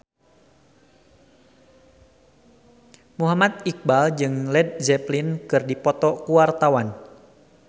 Muhammad Iqbal jeung Led Zeppelin keur dipoto ku wartawan